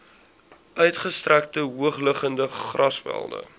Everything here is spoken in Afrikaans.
uitgestrekte hoogliggende grasvelde